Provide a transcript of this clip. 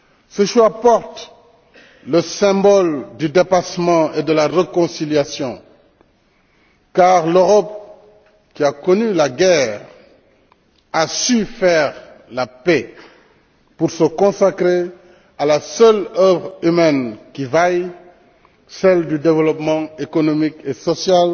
Ce choix porte le symbole du dépassement et de la réconciliation, car l'Europe, qui a connu la guerre, a su faire la paix pour se consacrer à la seule œuvre humaine qui vaille, celle du développement économique et social